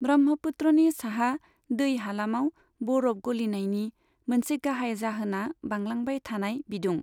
ब्रह्मपुत्रनि साहा दै हालामाव बरफ गलिनायनि मोनसे गाहाय जाहोना बांलांबाय थानाय बिदुं।